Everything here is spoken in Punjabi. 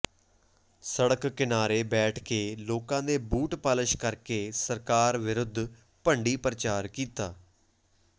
ਸੜਕ ਕਿਨਾਰੇ ਬੈਠ ਕੇ ਲੋਕਾਂ ਦੇ ਬੂਟ ਪਾਲਸ ਕਰਕੇ ਸਰਕਾਰ ਵਿਰੁੱਧ ਭੰਡੀ ਪ੍ਰਚਾਰ ਕੀਤਾ